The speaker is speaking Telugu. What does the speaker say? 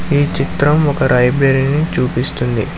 ఈ చిత్రం ఒక రైబ్రెరిని చూపిస్తుంది.